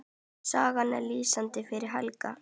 Sagan er lýsandi fyrir Helgu.